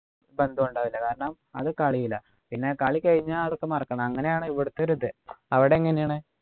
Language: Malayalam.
ബന്ധം ഉണ്ടാവില്ല കാരണം അത് കളിയിലാ പിന്നെ കളി കഴിഞ്ഞാ അതൊക്കെ മറക്കണം അങ്ങനെ ആണ് ഇവിടെത്തെ ഒരു ഇത് അവിടെ എങ്ങനെയാണു